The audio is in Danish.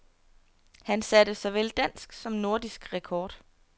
Han satte såvel dansk som nordisk rekord.